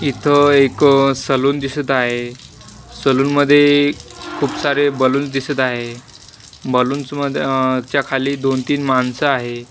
इथं एक सलून दिसत आहे सलून मध्ये खूप सारे बलून दिसत आहे बलूनस मध च्या खाली दोन-तीन माणसं आहे.